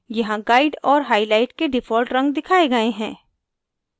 यहाँ guide और highlight के default रंग दिखाए गए हैं